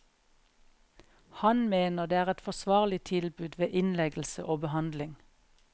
Han mener det er et forsvarlig tilbud ved innleggelse og behandling.